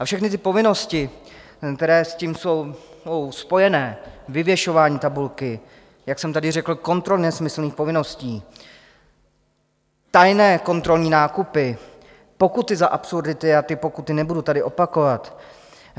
A všechny ty povinnosti, které s tím jsou spojené - vyvěšování tabulky, jak jsem tady řekl kontroly nesmyslných povinností, tajné kontrolní nákupy, pokuty za absurdity a ty pokuty - nebudu tady opakovat.